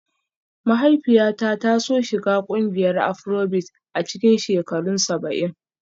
Mahaifiyata ta so shiga ƙungiyar Afrobeat a cikin shekarun saba'in